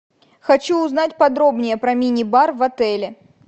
хочу узнать подробнее про мини бар в отеле